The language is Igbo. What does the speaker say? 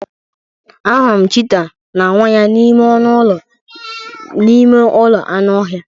Ahụrụ m cheetah na nwa ya n'ime ọnụ ụlọ n'ime ụlọ anụ ọhịa.